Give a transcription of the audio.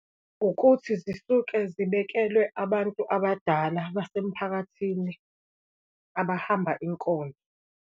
Ukuthi zisuke zibekelwe abantu abadala basemphakathini, abahamba inkonzo.